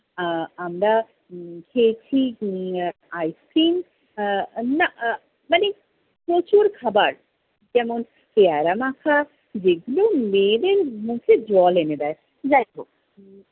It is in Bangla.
আহ আমরা উম খেয়েছি উম আহ ice-cream । আহ না আহ মানে প্রচুর খাবার। যেমন পেয়ারা-মাখা যেগুলো মেয়েদের মুখে জল এনে দেয়। যাইহোক,